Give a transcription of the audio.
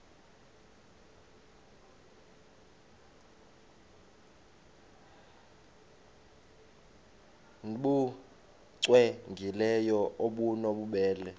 nbu cwengileyo obunobubele